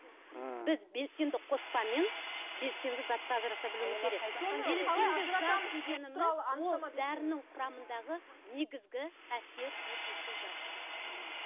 ммм біз белсенді қоспамен белсенді затты ажырата білуіміз керек ол дәрінің құрамындағы негізгі әсер етуші зат мхм